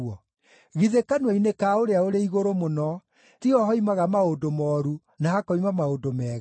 Githĩ kanua-inĩ ka Ũrĩa-ũrĩ-Igũrũ-Mũno tiho hoimaga maũndũ mooru, na hakoima maũndũ mega?